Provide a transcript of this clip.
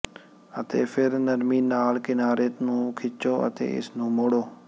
ਅਤੇ ਫਿਰ ਨਰਮੀ ਨਾਲ ਕਿਨਾਰੇ ਨੂੰ ਖਿੱਚੋ ਅਤੇ ਇਸ ਨੂੰ ਮੋੜੋ